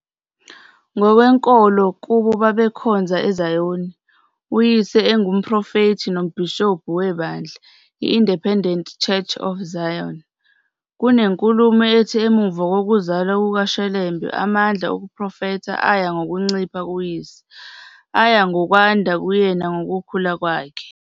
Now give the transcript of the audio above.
Ngokwenkolo kubo babekhonza eZayoni, uyise engumprofethi nombhishobhu webandla "i-Independent Church of Zion". Kunenkulumo ethi emumva kokuzalwa kukaShelembe amandla okuprofetha aya ngokuncipha kuyise, aya ngokwanda kuyena ngokukhula kwakhe.